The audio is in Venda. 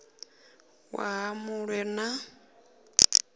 waha mu ṅ we na